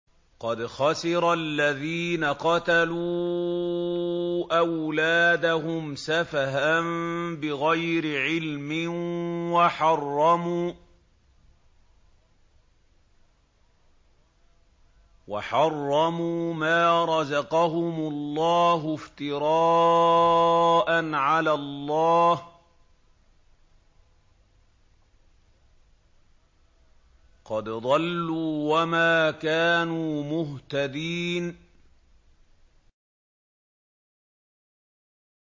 قَدْ خَسِرَ الَّذِينَ قَتَلُوا أَوْلَادَهُمْ سَفَهًا بِغَيْرِ عِلْمٍ وَحَرَّمُوا مَا رَزَقَهُمُ اللَّهُ افْتِرَاءً عَلَى اللَّهِ ۚ قَدْ ضَلُّوا وَمَا كَانُوا مُهْتَدِينَ